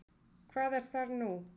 Hvað er þar nú?